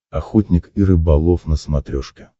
охотник и рыболов на смотрешке